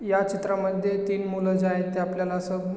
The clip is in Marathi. ह्या चित्रामध्ये तीन मुलं जे आहेत ते आपल्याला असं--